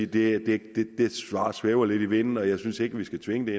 det svar svæver lidt i vinden jeg synes ikke vi skal tvinge